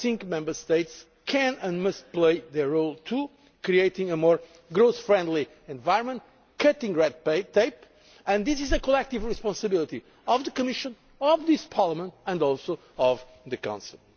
implementation. Member States can and must play their role too, creating a more growth friendly environment by cutting red tape, and this is a collective responsibility of the Commission, of this Parliament and also